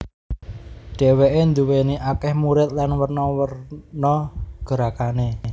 Dheweke duwéni akeh murid lan werna werna gerakane